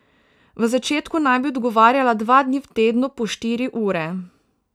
V začetku naj bi odgovarjala dva dni v tednu po štiri ure.